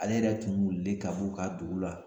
Ale yɛrɛ tun wililen ka b'u ka dugu la.